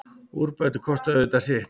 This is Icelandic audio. Úrbætur kosta auðvitað sitt.